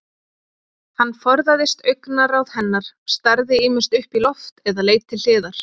Hann forðaðist augnaráð hennar, starði ýmist upp í loft eða leit til hliðar.